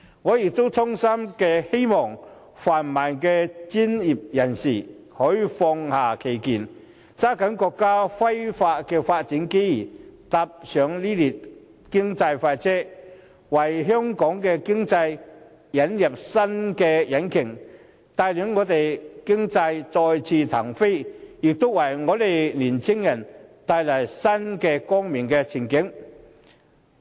我亦衷心希望泛民的專業人士可以放下成見，抓緊國家飛快的發展機遇，搭上這列經濟快車，為香港的經濟引入新引擎，帶領我們的經濟再次騰飛，為青年人帶來新的光明前景。